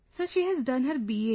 Sir, she has done her BA